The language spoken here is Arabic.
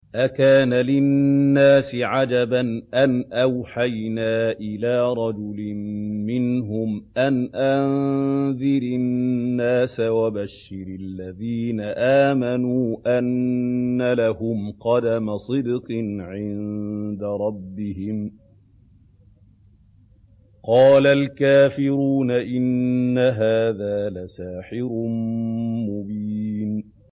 أَكَانَ لِلنَّاسِ عَجَبًا أَنْ أَوْحَيْنَا إِلَىٰ رَجُلٍ مِّنْهُمْ أَنْ أَنذِرِ النَّاسَ وَبَشِّرِ الَّذِينَ آمَنُوا أَنَّ لَهُمْ قَدَمَ صِدْقٍ عِندَ رَبِّهِمْ ۗ قَالَ الْكَافِرُونَ إِنَّ هَٰذَا لَسَاحِرٌ مُّبِينٌ